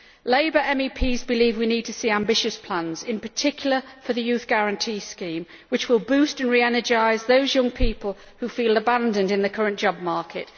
Labour MEPs believe we need to see ambitious plans, in particular for the Youth Guarantee Scheme, which will boost and re energise those young people who feel abandoned in the current job market.